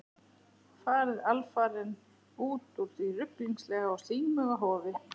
Farið alfarinn út úr því ruglingslega og slímuga hofi.